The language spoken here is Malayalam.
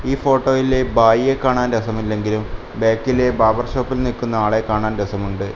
ഈ ഫോട്ടോയിലെ ഭായിയെ കാണാൻ രസമില്ലെങ്കിലും ബാക്കിയിലെ ബാർബർ ഷോപ്പിൽ നിൽക്കുന്ന ആളെ കാണാൻ രസമുണ്ട്.